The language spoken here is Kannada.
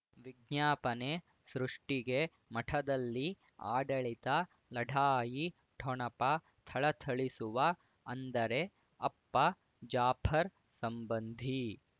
ವಿಜ್ಞಾಪನೆ ಸೃಷ್ಟಿಗೆ ಮಠದಲ್ಲಿ ಆಡಳಿತ ಲಢಾಯಿ ಠೊಣಪ ಥಳಥಳಿಸುವ ಅಂದರೆ ಅಪ್ಪ ಜಾಫರ್ ಸಂಬಂಧಿ